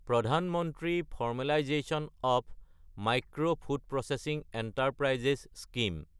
প্ৰধান মন্ত্ৰী formalisation of micro food processing enterprises scheme